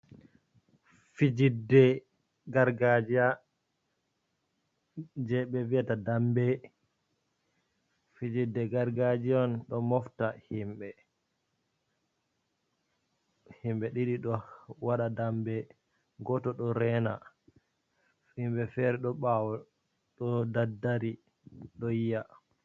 Fijidde gargajiya, je ɓe viyata Dambe, Fijjide gargajiya on ɗo mofta himɓe, hemɓe ɗiɗi, do waɗa dambe, goto ɗo rena. Himɓe fere ɗo ɓawo ɗo daddari do yiya.